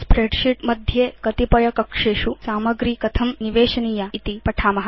spreadsheet मध्ये कतिपयकक्षेषु सामग्री कथं निवेशनीया इति पठाम